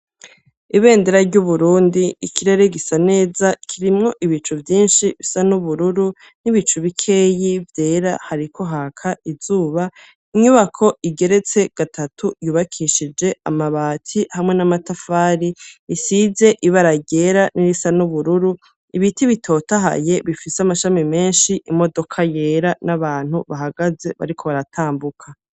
Ibendera ry'Uburundi, ikirere gisa neza, kirimwo ibicu vyinshi bisa n'ubururu, n'ibicu bikeyi vyera, hariko haka izuba; inyubako igeretse gatatu, yubakishije amabati hamwe n'amatafari, isize ibara ryera n'irisa n'ubururu; ibiti bitotahaye, bifise amashami menshi, imodoka yera n'abantu bahagaze bariko baratambuka.